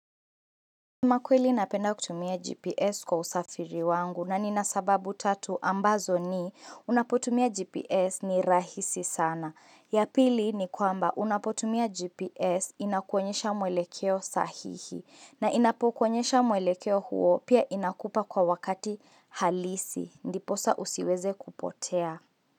Makweli napenda kutumia GPS kwa usafiri wangu na ni nasababu tatu ambazo ni unapotumia GPS ni rahisi sana. Yapili ni kwamba unapotumia GPS inakuonyesha mwelekeo sahihi na inapokonyesha mwelekeo huo pia inakupa kwa wakati halisi. Ndiposa usiweze kupotea.